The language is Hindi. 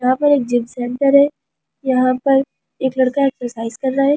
यहां पर एक जिम सेंटर है यहां पर एक लड़का एक्‍सरसाइज कर रहा है जिसने--